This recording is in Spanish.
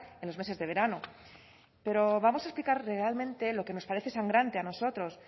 en los meses de verano pero vamos a explicar realmente lo que nos parece sangrante a nosotros